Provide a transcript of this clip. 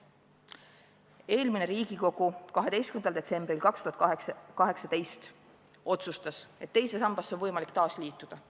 Eelmine Riigikogu 12. detsembril 2018 otsustas, et teise sambaga on võimalik taasliituda.